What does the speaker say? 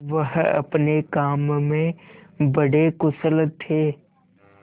वह अपने काम में बड़े कुशल थे